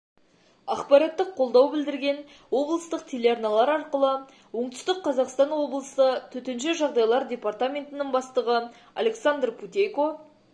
ақпараттық қолдау білдірген облыстық телеарналар арқылы оңтүстік қазақстан облысы төтенше жағдайлар департаментінің бастығы александр путейко